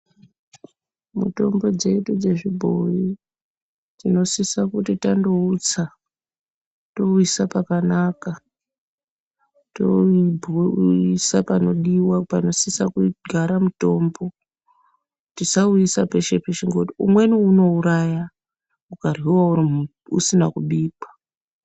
Mutombo dzedu dze zvibhoyi tino sisa kuti tando utsa towu isa pakanaka towu bhoilisa panodiwa pano sisa kugara mutombo tisau isa peshe peshe ngekuti umweni uno uraya uka ryiwa usina kubikwa.